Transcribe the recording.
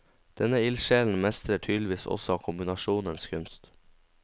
Denne ildsjelen mestrer tydeligvis også kombinasjonens kunst.